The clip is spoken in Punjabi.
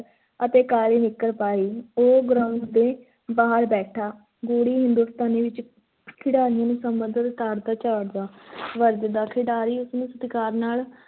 ਅਤੇ ਕਾਲੀ ਨਿੱਕਰ ਪਾਈ, ਉਹ ground ਦੇ ਬਾਹਰ ਬੈਠਾ ਗੂੜ੍ਹੀ ਹਿੰਦੁਸਤਾਨੀ ਵਿੱਚ ਖਿਡਾਰੀਆਂ ਨੂੰ ਸਮਝਾਉਂਦਾ ਤੇ ਤਾੜਦਾ, ਝਾੜਦਾ ਵਰਜਦਾ, ਖਿਡਾਰੀ ਉਸ ਨੂੰ ਸਤਿਕਾਰ ਨਾਲ